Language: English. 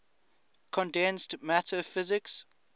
condensed matter physics